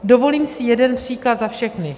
Dovolím si jeden příklad za všechny.